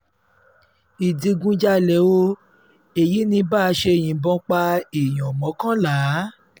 ìdígunjalè o èyí ní bá a ṣe yìnbọn pa èèyàn pa èèyàn mọ́kànlá